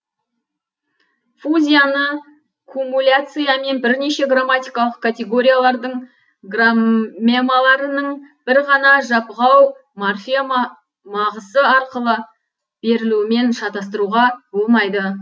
фузияны кумуляциямен бірнеше граммтикалық категориялардың граммемаларының бір ғана жапғау морфема мағсы арқылы берілуімен шатастыруға болмайды